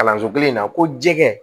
Kalanso kelen in na ko jɛgɛ